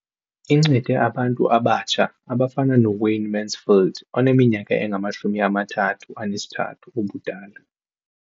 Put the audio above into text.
Incede abantu abatsha abafana noWayne Mansfield oneminyaka engama-33 ubudala.